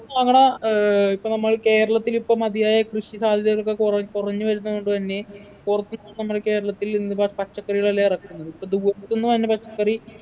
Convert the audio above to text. അങ്ങന ഏർ ഇപ്പൊ നമ്മള് കേരളത്തിലിപ്പം മതിയായ കൃഷി സാധ്യതകളൊക്കെ കുറെ കുറഞ്ഞു വരുന്നത്കൊണ്ട് തന്നെ നമ്മളെ കേരളത്തിൽ നിന്ന് പ പച്ചക്കറികൾ എല്ലാം ഇറക്കുന്നത് ഇപ്പൊ ദൂരത്തിന്ന് വന്ന പച്ചക്കറി